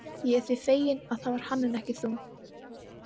Ég er því feginn, að það var hann en ekki þú.